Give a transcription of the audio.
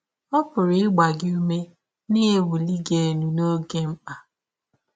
Ọ pụrụ ịgba gị ụme na iwụli gị elụ n’ọge mkpa.